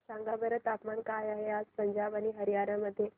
सांगा बरं तापमान काय आहे आज पंजाब आणि हरयाणा मध्ये